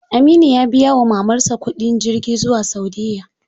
Aminu ya biya wa mamar sa kuɗin jirgin zuwa saudiya.